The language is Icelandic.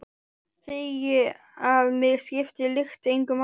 Segi að mig skipti lykt engu máli.